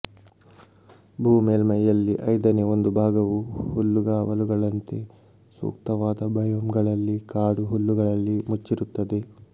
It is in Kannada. ಭೂ ಮೇಲ್ಮೈಯಲ್ಲಿ ಐದನೇ ಒಂದು ಭಾಗವು ಹುಲ್ಲುಗಾವಲುಗಳಂತೆ ಸೂಕ್ತವಾದ ಬಯೋಮ್ಗಳಲ್ಲಿ ಕಾಡು ಹುಲ್ಲುಗಳಲ್ಲಿ ಮುಚ್ಚಿರುತ್ತದೆ